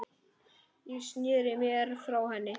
Ég sneri mér frá henni.